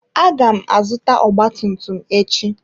Aga m azụta ọgba tum tum echi.